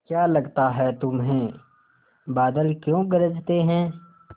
क्या लगता है तुम्हें बादल क्यों गरजते हैं